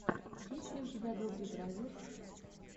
есть ли у тебя добре бразерс